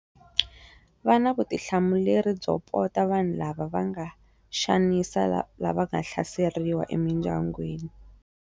Va na vutihlamuleri byo pota vanhu lava va nga xanisa lava nga hlaseriwa emindyangwini.